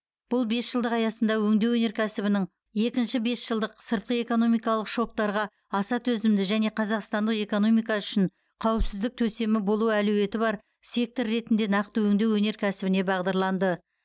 бұл бесжылдық аясында өңдеу өнеркәсібінің екінші бесжылдық сыртқы экономикалық шоктарға аса төзімді және қазақстандық экономика үшін қауіпсіздік төсемі болу әлеуеті бар сектор ретінде нақты өңдеу өнеркәсібіне бағдарланды